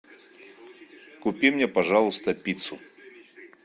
купи мне пожалуйста пиццу